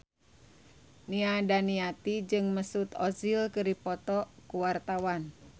Nia Daniati jeung Mesut Ozil keur dipoto ku wartawan